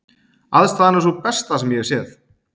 Aðstaðan er sú besta sem ég hef séð.